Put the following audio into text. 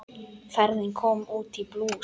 Ferðin kom út í plús.